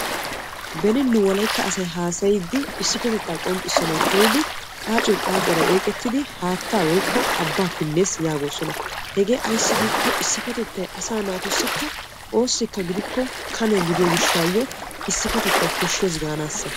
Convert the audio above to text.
Beni wolaytta asay haasayiddi qaacoy qaacuwara oyqqettiddi haatta pinees gees hegee ayssi giikko issipetettay asaa naatussi koshiya kanebba gaanasa.